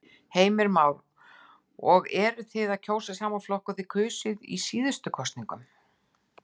Heimir Már: Og eruð þið að kjósa sama flokk og þið kusuð í síðustu kosningum?